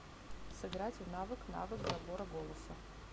сыграть в навык навык забора голоса